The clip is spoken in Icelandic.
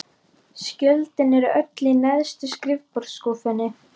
Skjölin eru öll í neðstu skrifborðsskúffunni.